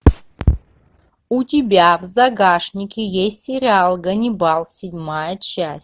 у тебя в загашнике есть сериал ганнибал седьмая часть